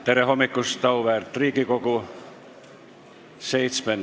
Tere hommikust, auväärt Riigikogu!